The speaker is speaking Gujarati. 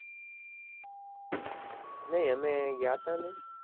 નય અમે ગયા તા ને